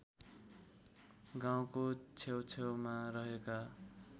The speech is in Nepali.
गाउँको छेउछेउमा रहेका